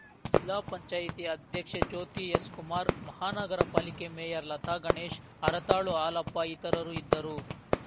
ಜಿಲ್ಲಾ ಪಂಚಾಯತಿ ಅಧ್ಯಕ್ಷೆ ಜ್ಯೋತಿ ಎಸ್‌ ಕುಮಾರ್‌ ಮಹಾನಗರಪಾಲಿಕೆ ಮೇಯರ್‌ ಲತಾಗಣೇಶ್‌ ಹರತಾಳು ಹಾಲಪ್ಪ ಇತರರು ಇದ್ದರು